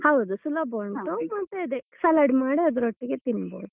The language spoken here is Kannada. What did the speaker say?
ಹೌದು ಸುಲಭ ಉಂಟು ಮತ್ತೆ ಅದೇ salad ಮಾಡಿ ಅದ್ರೊಟ್ಟಿಗೆ ತಿನ್ಬೋದು.